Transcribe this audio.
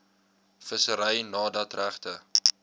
vissery nadat regte